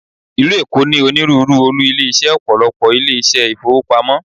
Ìlú Èkó ní onírúurú olú ilé iṣẹ́ Ọ̀pọ̀lọ́pọ̀ ilé iṣẹ́ ìfowópamọ́.